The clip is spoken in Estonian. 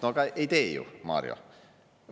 No aga ei tee ju, Mario!